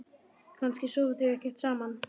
Kannski sofa þau ekkert saman?